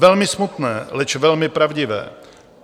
Velmi smutné, leč velmi pravdivé!